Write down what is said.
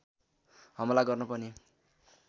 हमला गर्न पनि